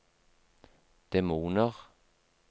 demoner